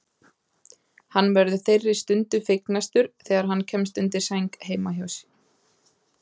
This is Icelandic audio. Hann verður þeirri stund fegnastur þegar hann kemst undir sæng heima hjá